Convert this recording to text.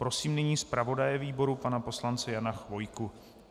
Prosím nyní zpravodaje výboru pana poslance Jana Chvojku.